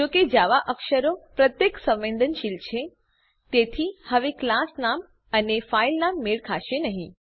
જો કે જાવા અક્ષરો પ્રત્યે સંવેદનશીલ છે તેથી હવે ક્લાસ નામ અને ફાઈલ નામ મેળ ખાસે નહી